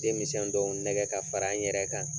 Denmisen dɔw nɛgɛ ka fara n yɛrɛ kan.